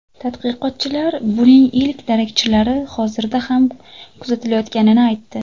Tadqiqotchilar buning ilk darakchilari hozirda ham kuzatilayotganini aytdi.